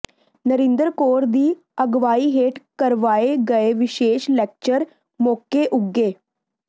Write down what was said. ਨਰਿੰਦਰ ਕੌਰ ਦੀ ਅਗਵਾਈ ਹੇਠ ਕਰਵਾਏ ਗਏ ਵਿਸ਼ੇਸ਼ ਲੈਕਚਰ ਮੌਕੇ ਉੱਘੇ